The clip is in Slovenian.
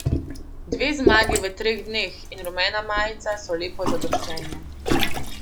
Dve zmagi v treh dneh in rumena majica so lepo zadoščenje.